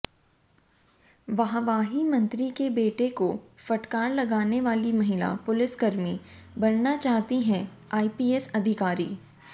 वाहवाहीमंत्री के बेटे को फटकार लगाने वाली महिला पुलिसकर्मी बनना चाहती है आईपीएस अधिकारी